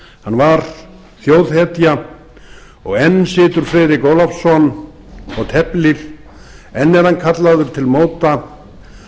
hann var þjóðhetja og enn situr friðrik ólafsson og teflir enn er hann kallaður til móta